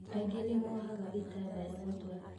Aingĩ nĩmohaga itabaya mũtwe